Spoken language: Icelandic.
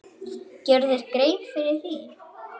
Gerirðu þér grein fyrir því?